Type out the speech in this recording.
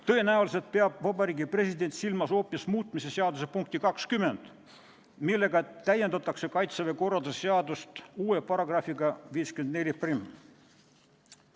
Tõenäoliselt peab Vabariigi President silmas hoopis muutmise seaduse punkti 20, millega täiendatakse Kaitseväe korralduse seadust uue §-ga 541.